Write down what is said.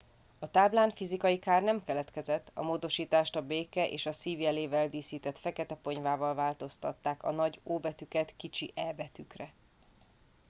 a táblán fizikai kár nem keletkezett a módosítást a béke és a szív jelével díszített fekete ponyvával változtatták a nagy o betűket kicsi e betűkre